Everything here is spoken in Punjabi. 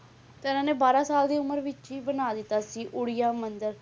ਤੇ ਇਹਨਾਂ ਨੇ ਬਾਰਾਂ ਸਾਲ ਦੀ ਉਮਰ ਵਿੱਚ ਹੀ ਬਣਾ ਦਿੱਤਾ ਸੀ ਉੜੀਆ ਮੰਦਿਰ